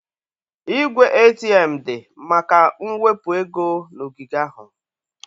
Igwe ATM dị maka mwepu ego na ogige ahụ.